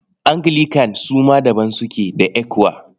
Anglican su ma daban suke da ECWA.